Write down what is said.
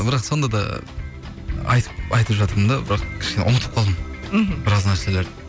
бірақ сонда да айтып жатырмын да бірақ кішкене ұмытып қалдым мхм біраз нәрселерді